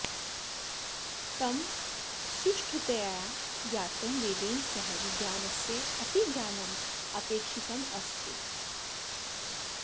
तं सुष्ठुतया ज्ञातुं वेदेन सह विज्ञानस्य अपि ज्ञानम् अपेक्षितमस्ति